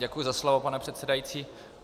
Děkuju za slovo, pane předsedající.